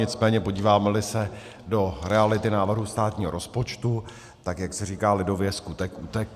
Nicméně podíváme-li se do reality návrhu státního rozpočtu, tak jak se říká lidově skutek utek.